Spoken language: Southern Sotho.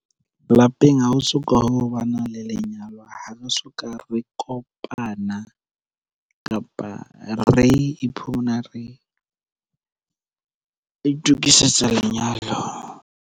Lapeng ha ho so ka ho ba na le lenyalo. Ha re soka re kopana, kapa re iphumana re itokisetsa lenyalo.